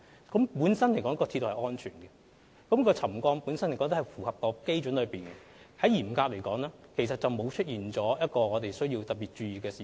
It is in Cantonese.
鐵路本身是安全的，而沉降幅度亦符合基準，嚴格來說，鐵路並沒有出現任何需要我們特別注意的事情。